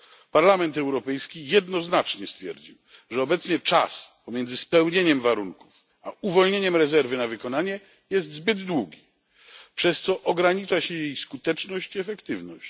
Parlament Europejski jednoznacznie stwierdził, że obecnie czas pomiędzy spełnieniem warunków a uwolnieniem rezerwy na wykonanie jest zbyt długi, przez co ogranicza się jej skuteczność i efektywność.